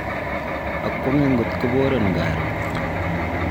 akwonge ngot korobon karon.